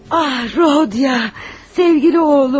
Ah, Rodya, sevimli oğlum.